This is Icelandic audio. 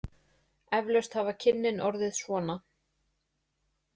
Eflaust hafa kynnin orðið svona.